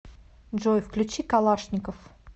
джой включи калашников